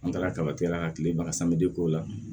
An taara kaba tigɛ la ka kileba sama de k'o la